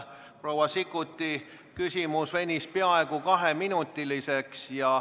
Proua Sikkuti küsimus venis peaaegu kaheminutiseks.